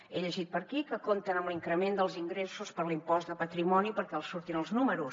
he llegit per aquí que compten amb l’increment dels ingressos per l’impost de patrimoni perquè els surtin els números